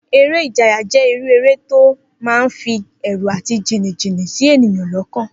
Eré ìjayà jé̩ irú eré tó máa ń fi è̩rù àti jìnnìjìnnì sí ènìyàn ló̩kàn